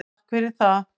Takk fyrir það.